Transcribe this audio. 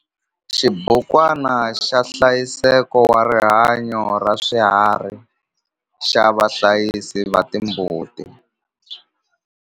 Xibukwana xa nhlayiseko wa rihanyo ra swiharhi xa vahlayisi va timbuti.